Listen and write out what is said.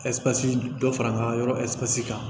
Ɛsipansi dɔ fara an ka yɔrɔ zɔsi kan